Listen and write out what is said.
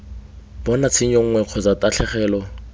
bona tshenyo nngwe kgotsa tatlhegelo